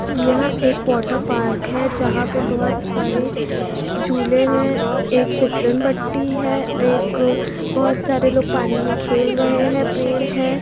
यह एक water park है जहाँ पे बहोत सारे झूले है एक फिसलन पट्टी है एक बहोत सारे लोग पानी मे खेल रहे है पेड़ है।